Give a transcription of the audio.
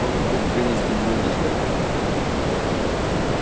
может быть принести блюдечко